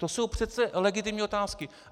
To jsou přece legitimní otázky.